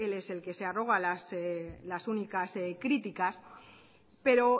él es el que se arroga las únicas criticas pero